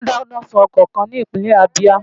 Wọ́n dáná sun ọkọ̀ kan ní ìpínlẹ̀ Abia.